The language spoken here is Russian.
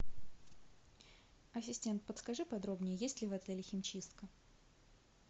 ассистент подскажи подробнее есть ли в отеле химчистка